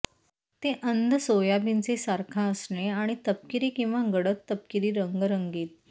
ते अंध सोयाबीनचे सारखा असणे आणि तपकिरी किंवा गडद तपकिरी रंग रंगीत